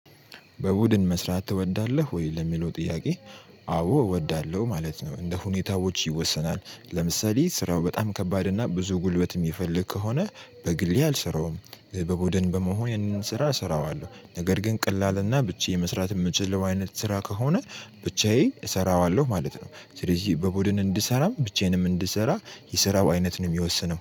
በቡድን መስራት ትወዳለህ ወይ ለሚለው ጥያቄ? አዎ እወዳለሁ ማለት ነው። እንደ ሁኔታዎች ይወሰናል ለምሳሌ ስራው በጣም ከባድ እና ብዙ ጉልበት እሚፈልግ ከሆነ በግሌ አልሰራውም። በ በቡድን በመሆን ይህንን ስራ እሰራዋለሁ ነገር ግን ቀላልና ብቻየን መስራት እምችልው አይነት ስራ ከሆነ ብቻዬን እሰራዋለሁ ማለት ነው። ስለዚህ በቡድን እንድሰራም ብቻዬንም እንድሰራ የስራው አይነት ነው እሚወስነው